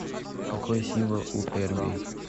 какой символ у эрбий